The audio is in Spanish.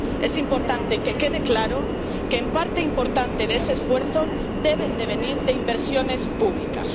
Es importante que quede claro que una parte importante de ese esfuerzo debe venir de inversiones públicas.